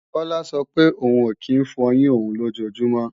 Kọ́lá sọ pé òun ò kí ń fọyín òun lójojúmọ́